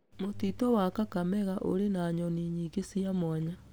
Mũtitũ wa Kakamega ũrĩ na nyoni nyingĩ cia mwanya.